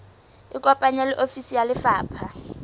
ikopanye le ofisi ya lefapha